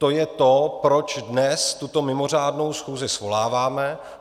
To je to, proč dnes tuto mimořádnou schůzi svoláváme.